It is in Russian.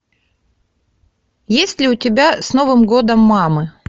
есть ли у тебя с новым годом мамы